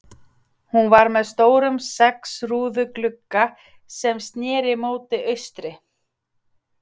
Hún var með stórum sex rúðu glugga, sem sneri móti austri.